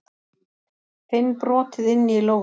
Finn brotið inni í lófanum.